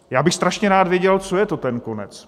Já bych strašně rád věděl, co je to ten konec?